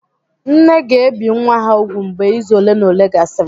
nne ga-ebi nwa ha úgwù mgbe izu ole na ole gasịrị